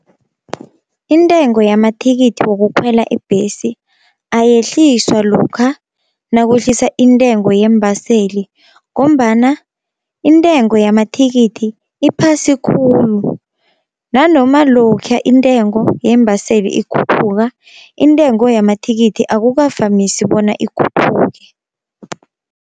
Intengo yamathikithi wokukhwela ibhesi ayehliswa lokha nakwehlisa intengo yeembaseli, ngombana intengo yamathikithi iphasi khulu nanoma lokha intengo yeembaseli ikhuphuka, intengo yamathikithi akukavamisi bona ikhuphuke.